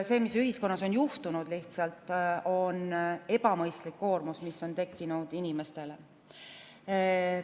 See, mis on ühiskonnas juhtunud, on lihtsalt ebamõistlik koormus, mis on inimestel tekkinud.